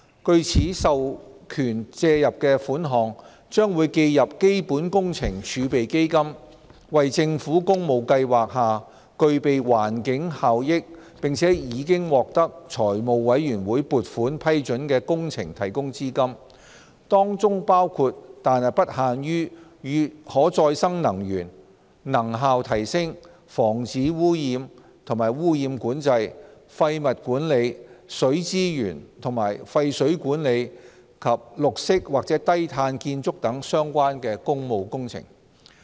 據此授權借入的款項，將會記入基本工程儲備基金，為政府工務計劃下具備環境效益、並已獲財務委員會撥款批准的工程提供資金，當中包括但不限於與可再生能源、能效提升、防止污染及污染管制、廢物管理、水資源及廢水管理及綠色或低碳建築等相關的工務工程。